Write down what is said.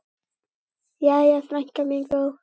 Jæja, frænka mín góð.